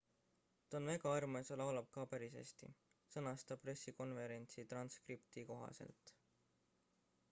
ta on väga armas ja laulab ka päris hästi sõnas ta pressikonverentsi transkripti kohaselt